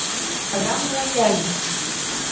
программы лояльности